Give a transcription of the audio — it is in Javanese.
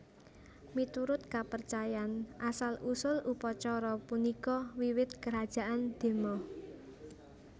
Miturut kapercayan asal usul upacara punika wiwit Kerajaan Dema